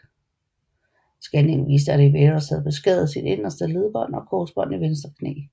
Scanningen viste at Riveros havde beskadiget sit inderste ledbånd og korsbånd i venstre knæ